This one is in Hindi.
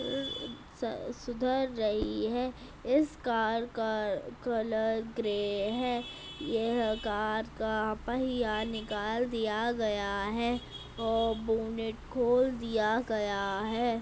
अ सुधर रही है। इस कार का कलर ग्रे है। यह कार का पहिया निकाल दिया गया है और बोनट खोल दिया गया है।